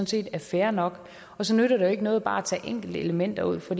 set er fair nok så nytter det jo ikke noget bare at tage enkelte elementer ud for